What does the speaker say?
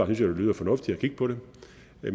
det lyder fornuftigt at kigge på det